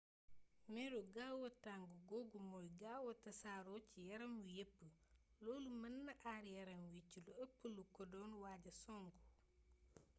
meru gaawa tàng googu mooy gaawa tasaaroo ci yaram wi yépp loolu mën na aar yaram wi ci lépp lu ko doon waaja song